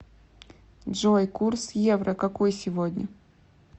джой курс евро какой сегодня